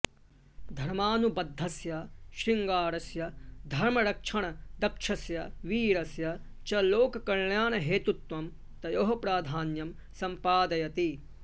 धर्मानुबध्दस्य श्रृङ्गारस्य धर्मरक्षणदक्षस्य वीरस्य च लोककल्याणहेतुत्वं तयोः प्राधान्यं सम्पादयति